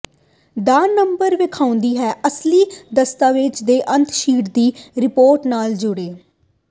ਦਾ number ਵੇਖਾਉਦਾ ਹੈ ਅਸਲੀ ਦਸਤਾਵੇਜ਼ ਦੇ ਅਤੇ ਸ਼ੀਟ ਦੀ ਰਿਪੋਰਟ ਨਾਲ ਜੁੜੇ